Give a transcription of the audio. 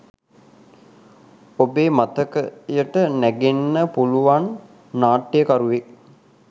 ඔබේ මතකයට නැගෙන්න පුළුවන් නාට්‍යකරුවෙක්